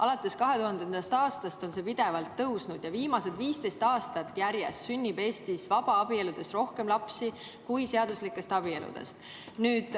Alates 2000. aastast on vabaabielude osa pidevalt tõusnud ja viimased 15 aastat järjest sünnib Eestis vabaabieludest rohkem lapsi kui seaduslikest abieludest.